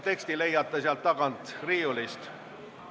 Teksti leiate sealt tagant riiulist.